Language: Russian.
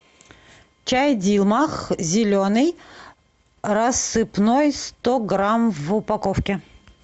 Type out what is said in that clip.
чай дилмах зеленый рассыпной сто грамм в упаковке